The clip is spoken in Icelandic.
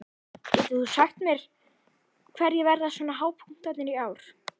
Getur þú sagt mér hverjir verða svona hápunktarnir í ár?